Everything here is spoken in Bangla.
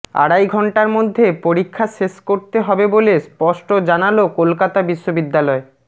আড়াই ঘন্টার মধ্যে পরীক্ষা শেষ করতে হবে বলে স্পষ্ট জানাল কলকাতা বিশ্ববিদ্যালয়